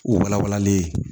U wala walalen ye